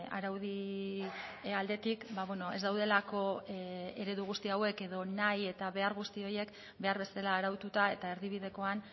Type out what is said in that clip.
araudi aldetik ez daudelako eredu guzti hauek edo nahi eta behar guzti horiek behar bezala araututa eta erdibidekoan